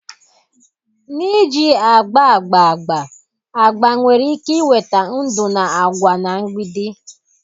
N'iji agba agba agba, agba nwere ike iweta ndụ na àgwà na mgbidi